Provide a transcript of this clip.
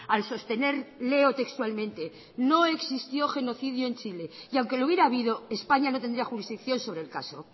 al sostener leo textualmente no existió genocidio en chile y aunque lo hubiera habido españa no tendría jurisdicción sobre el caso